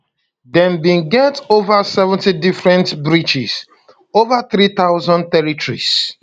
dem bin get ova 70 different breaches ova 3000 terrorists